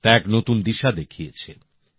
তা এক নতুন দিশা দেখিয়েছে